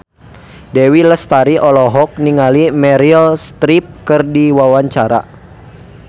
Dewi Lestari olohok ningali Meryl Streep keur diwawancara